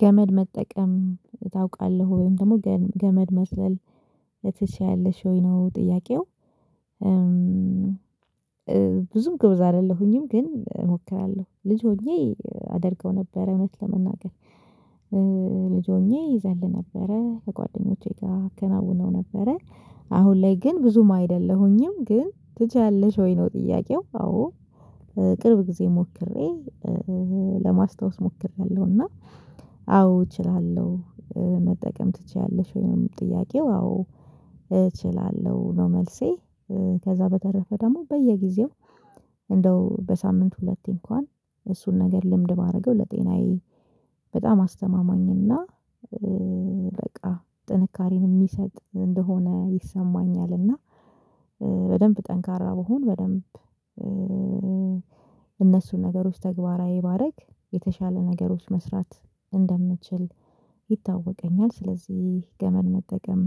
ገመድ መጠቀም ታውቃለህ ወይም ደግሞ ገመድ መዝለል ትችያለሽ ወይ ነው ጥያቄው? ብዙም ጎበዝ አይደለሁኝም ግን እሞክራለሁ ልጅ ሆኜ አደርገው ነበር እውነት ለመናገር። ልጅ ሆኜ ይዘል ነበረ ከጓደኞቼ ጋር አከናውነው ነበረ። አሁን ላይ ግን ብዙም አይደለሁኝም ግን ትችያለሽ ወይ ነው ጥያቄው? አዎ ቅርብ ጊዜ ሞክሬ ለማስታወስ ሞክሬያለሁ እና አዎ እችላለሁ። መጠቀም ትችያለሽ ወይም ጥያቄው? አዎ እችላለሁ ነው መልሴ። ከዛ በተረፈ ደግሞ በየጊዜው እንደው በሳምንት ሁለቴ እንኳን እሱን ነገር ልምድ ባደረገው ለጤናዬ በጣም አስተማማኝ እና በቃ ጥንካሬን የሚሰጥ እንደሆነ ይሰማኛል። እና በደንብ ጠንካራ ብሆን በደንብ እነሱን ነገሮች ተግባራዊ ባደረግ የተሻለ ነገሮች መስራት እንደምትችል ይታወቀኛል። ስለዚህ ገመድ መጠቀም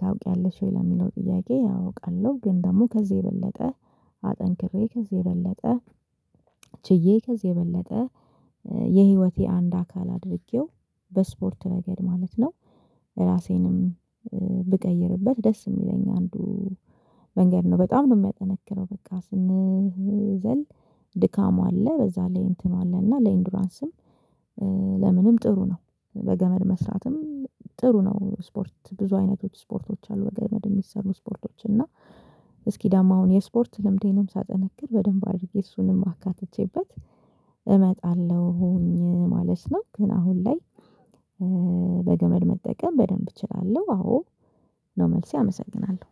ታውቂያለሽ ወይ ለሚለው ጥያቄ? አውቃለሁ ግን ደግሞ ከዚህ የበለጠ አጠንክሬ ከዚህ የበለጠ ችዬ ከዚህ የበለጠ የህይወቴ አንድ አካል አድርጌው በስፖርት ረገድ ማለት ነው። ራሴንም ብቀይርበት ደስ የሚለኝ አንዱ መንገድ ነው በጣም ነው የሚያጠነክረው በቃ ስንዘል ድካም አለ በዛ ላይ እንትኑ አለ እና ለኢንዱራንስም ለምንም ጥሩ ነው በገመድ መስራትም ጥሩ ነው። ስፖርት ብዙ አይነቶች ስፖርቶች አሉ በገመድ የሚሰሩ ስፖርቶች እና እስኪ ደግሞ አሁን የስፖርት ልምዴንም ሳጠነክር በደንብ አድርጌ እሱንም አካትቼበት እመጣለሁኝ ማለት ነው። ግን አሁን ላይ በገመድ መጠቀም በደንብ እችላለሁ አዎ ነው መልሴ። አመሰግናለሁ